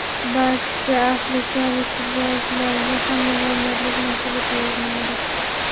Barcha afrikalik futbolchilarga ham millionerlik nasib etavermaydi.